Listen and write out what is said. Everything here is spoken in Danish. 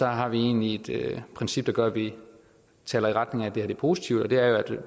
har vi egentlig et princip der gør at vi taler i retning af at det her er positivt og